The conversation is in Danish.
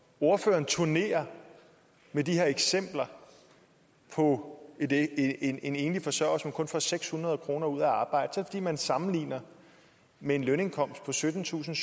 ordføreren turnerer med de her eksempler på en en enlig forsørger som kun får seks hundrede kroner ud af at arbejde er det fordi man sammenligner med en lønindkomst på syttentusinde